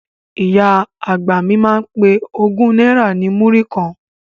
Ìyá àgbà mi máa ń pe ogún náírà ní múrí kan